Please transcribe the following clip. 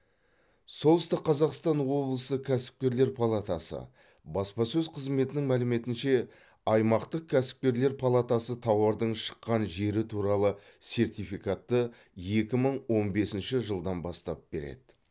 солтүстік қазақстан облысы кәсіпкерлер палатасы баспасөз қызметінің мәліметінше аймақтық кәсіпкерлер палатасы тауардың шыққан жері туралы сертификатты екі мың он бесінші жылдан бастап береді